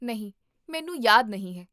ਨਹੀਂ, ਮੈਨੂੰ ਯਾਦ ਨਹੀਂ ਹੈ